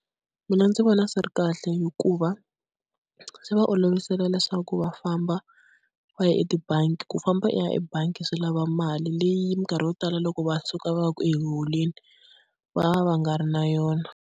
Mina ndzi vona swi ri kahle hikuva swi va olovisela leswaku va famba va ya etibangi, ku famba u ya ebangi swi lava mali leyi minkarhi yo tala loko va suka va ya ku yi holeni va va va nga ri na yona.